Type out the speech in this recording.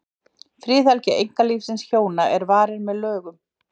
Friðhelgi einkalífs hjóna er varin með lögum.